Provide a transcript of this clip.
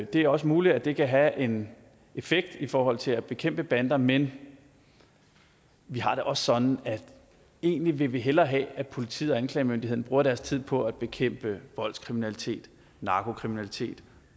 det er også muligt at det kan have en effekt i forhold til at bekæmpe bander men vi har det også sådan at vi egentlig hellere vil have at politiet og anklagemyndigheden bruger deres tid på at bekæmpe voldskriminalitet narkokriminalitet